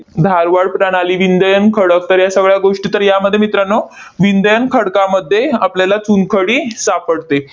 धारवाड प्रणाली विंध्ययन खडक तर या सगळ्या गोष्टी तर यामध्ये मित्रांनो, विंध्ययन खडकांमध्ये आपल्याला चुनखडी सापडते.